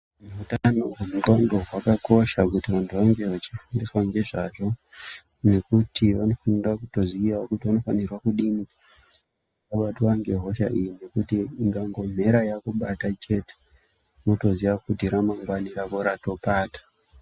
Utano hwendxondo hwakakosha kuti vantu vange vachifundiswa ngezvazvo, ngekuti vanofunda kutoziyawo kuti vanofanirwa kudini ,kubatwa ngehosha iyi ngekuti ikangomhera yakubata chete ,wotoziya kuti ramangwani rako ratopata.